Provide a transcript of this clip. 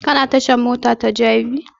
Ka na tashan mota ta jabi?